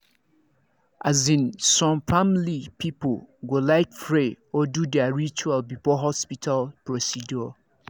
as in some family people go like pray or do their ritual before hospital procedures